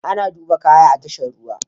Ana duba kaya a tashar ruwa.